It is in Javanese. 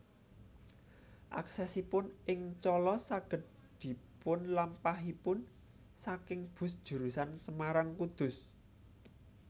Aksesipun ing Colo saged dipunlampahipun saking bus jurusan Semarang Kudus